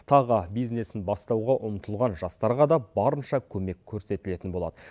тағы бизнесін бастауға ұмтылған жастарға да барынша көмек көрсетілетін болады